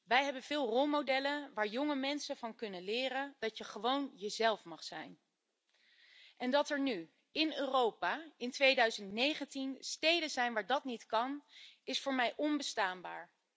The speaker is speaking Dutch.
Wij hebben veel rolmodellen waar jonge mensen van kunnen leren dat je gewoon jezelf mag zijn. Dat er nu in Europa in 2019 steden zijn waar dat niet kan, is voor mij onbestaanbaar.